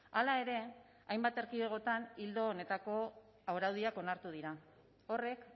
hala ere hainbat erkidegotan ildo honetako araudiak onartu dira horrek